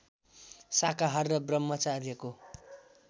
शाकाहार र ब्रह्मचार्यको